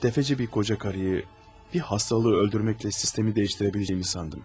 Bir qoca qarıyı, bir xəstəliyi öldürməklə sistemi dəyişə biləcəyimi sandım.